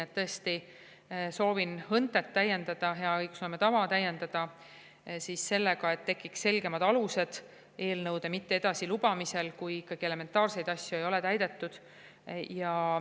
Ma tõesti soovin HÕNTE-t täiendada, hea õigusloome tava täiendada sellega, et tekiks selgemad alused eelnõude mitte edasi lubamisel, kui ikkagi elementaarseid nõudeid ei ole täidetud.